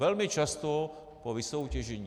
Velmi často po vysoutěžení.